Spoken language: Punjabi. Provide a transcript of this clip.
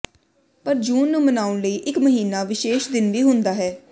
ਪਰ ਜੂਨ ਨੂੰ ਮਨਾਉਣ ਲਈ ਇਕ ਮਹੀਨਾ ਵਿਸ਼ੇਸ਼ ਦਿਨ ਵੀ ਹੁੰਦਾ ਹੈ